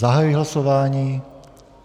Zahajuji hlasování.